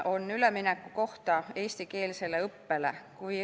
Arupärimine on eestikeelsele õppele ülemineku kohta.